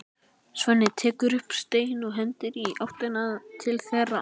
Svenni tekur upp stein og hendir í áttina til þeirra.